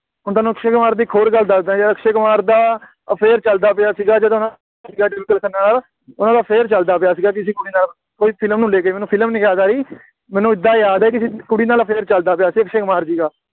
ਹੁਣ ਤੁਹਾਨੂੰ ਅਕਸ਼ੇ ਕੁਮਾਰ ਦੀ ਇੱਕ ਹੋਰ ਗੱਲ ਦੱਸਦਾ, ਜਦ ਅਕਸ਼ੇ ਕੁਮਾਰ ਦਾ affair ਚੱਲਦਾ ਪਿਆ ਸੀਗਾ, ਜਦੋਂ ਟਵਿੰਕਲ ਖੰਨਾ ਨਾਲ, ਉਹਨਾ ਦਾ affair ਚੱਲਦਾ ਪਿਆ ਸੀਗਾ ਕਿਸੀ ਕੁੜੀ ਨਾਲ ਕੋਈ ਫਿਲਮ ਨੂੰ ਲੈ ਕੇ ਮੈਨੂੰ ਫਿਲਮ ਨਹੀਂ ਯਾਦ ਆਈ, ਮੈਨੂੰ ਏਦਾਂ ਯਾਦ ਹੈ ਕਿਸੇ ਕੁੜੀ ਨਾਲ affair ਚੱਲਦਾ ਪਿਆ ਸੀ ਅਕਸ਼ੇ ਕੁਮਾਰ ਜੀ ਦਾ